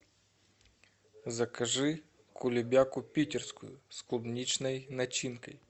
закажи кулебяку питерскую с клубничной начинкой